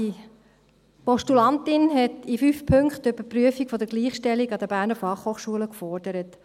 Die Postulantin hat in 5 Punkten die Überprüfung der Gleichstellung an der BFH gefordert.